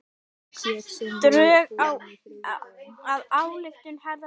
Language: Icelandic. Drög að ályktun harðlega gagnrýnd